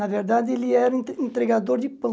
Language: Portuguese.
Na verdade, ele era entre entregador de pão.